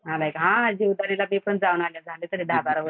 आलाय का? हा जीवदानी ल मी पण जाऊन आलेय झालेय तरी दहाबारा वर्ष